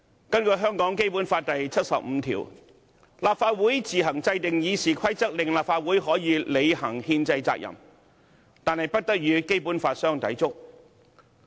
根據《基本法》第七十五條，立法會自行制定《議事規則》，令立法會可履行憲制責任，但不得與《基本法》相抵觸。